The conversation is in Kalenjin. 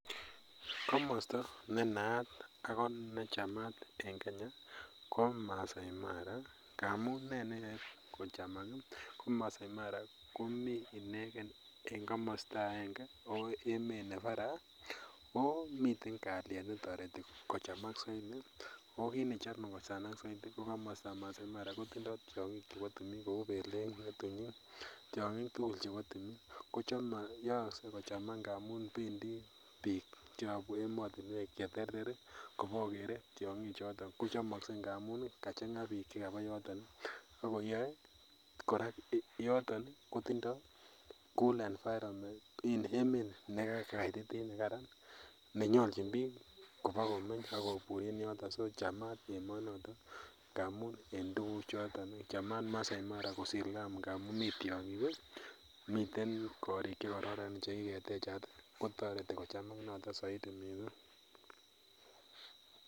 Komosta nenaat ako chamat en kenya koo Maasai Mara ngamun ne neyoe kochamak ii ko Maasai Mara komii ineken en komosta akenge, ako emet ne baraa, oo miten kaliet netoreti kochamak saidi oo kit nechome kochamak saidi ko komostab Maasai Mara kotindoo tiong'ik che bo tumin kou belek, ng'etunyik tiong'ik tugul chebo tumin koyookse kochamak ngamun bendi biik cheyobu emotinwek cheterter ii kobokokere tiong'ichoton kochomokse ngamun ii kachang'aa biik chekabaa yoton akoyoe korak yoton kotindoo cool environment koo in emet nekakaititit nekaran nenyolchin biik ibokomenye akobur en yoton so chamat emonoto ngamun en tuguchoton chamat Maasai Mara ngamun mii tiong'ik ii ,miten korik chekororon chekiketechat kotoret kochamak noton saidi.